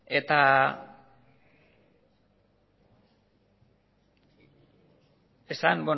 eta esan